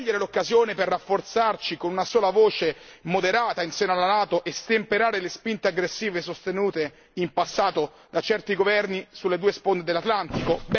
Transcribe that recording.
Vogliamo cogliere l'occasione per rafforzarci con una sola voce moderata in seno alla NATO e stemperare le spinte aggressive sostenute in passato da certi governi sulle due sponde dell'Atlantico?